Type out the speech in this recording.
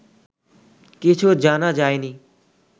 কিছু জানা যায়নি